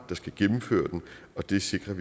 der skal gennemføre den og det sikrer